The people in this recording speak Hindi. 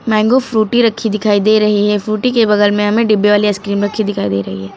मैंगो फ्रूटी रखी दिखाई दे रही है फ्रूटी के बगल में हमें डिब्बे वाली आइसक्रीम रखी दिखाई दे रही है।